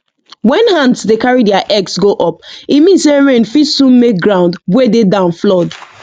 when ants dey carry their eggs go up e mean say rain fit soon make ground wey dey down flood